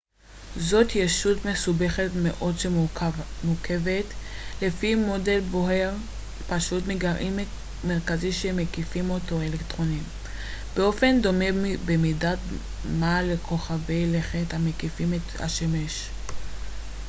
זו ישות מסובכת מאוד שמורכבת לפי מודל בוהר פשוט מגרעין מרכזי שמקיפים אותו אלקטרונים באופן דומה במידת מה לכוכבי לכת המקיפים את השמש ראו תרשים 1.1